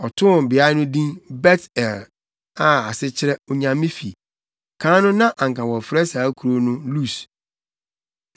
Ɔtoo beae no din Bet-El a ase kyerɛ Onyame fi. Kan no na anka wɔfrɛ saa kurow no Lus.